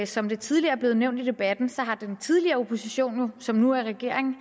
som det tidligere er blevet nævnt i debatten har den tidligere opposition som nu er regering